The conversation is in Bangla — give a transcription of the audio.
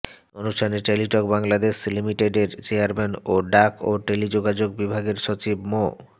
অনুষ্ঠানে টেলিটক বাংলাদেশ লিমিটেডের চেয়ারম্যান ও ডাক ও টেলিযোগাযোগ বিভাগের সচিব মো